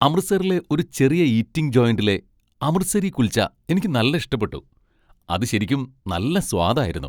അമൃത്സറിലെ ഒരു ചെറിയ ഈറ്റിംഗ് ജോയിന്റിലെ അമൃത്സരി കുൽച്ച എനിക്ക് നല്ല ഇഷ്ടപ്പെട്ടു. അത് ശരിക്കും നല്ല സ്വാദ് ആയിരുന്നു.